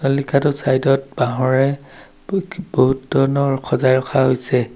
লিখাটোৰ চাইদত বাহঁৰে ব বহুত ধৰণৰ খজাই ৰখা হৈছে।